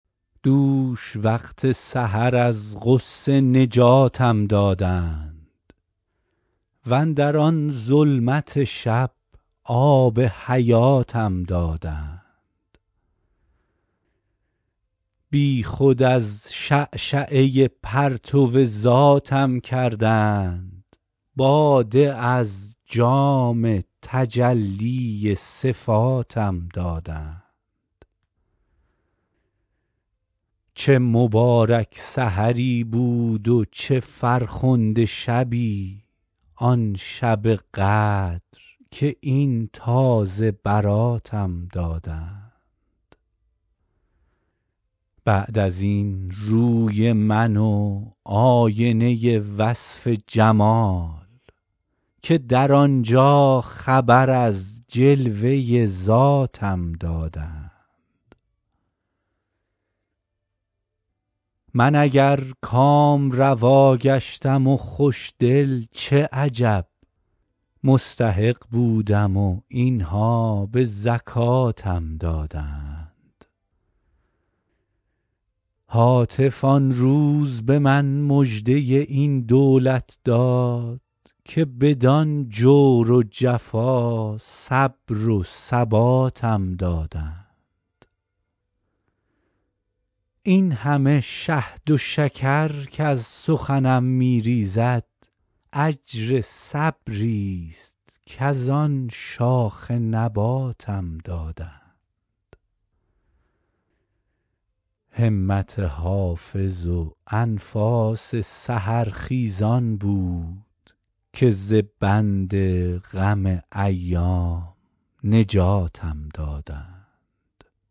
دوش وقت سحر از غصه نجاتم دادند واندر آن ظلمت شب آب حیاتم دادند بی خود از شعشعه پرتو ذاتم کردند باده از جام تجلی صفاتم دادند چه مبارک سحری بود و چه فرخنده شبی آن شب قدر که این تازه براتم دادند بعد از این روی من و آینه وصف جمال که در آن جا خبر از جلوه ذاتم دادند من اگر کامروا گشتم و خوش دل چه عجب مستحق بودم و این ها به زکاتم دادند هاتف آن روز به من مژده این دولت داد که بدان جور و جفا صبر و ثباتم دادند این همه شهد و شکر کز سخنم می ریزد اجر صبری ست کز آن شاخ نباتم دادند همت حافظ و انفاس سحرخیزان بود که ز بند غم ایام نجاتم دادند